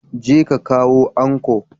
Ka je ka kawo anco!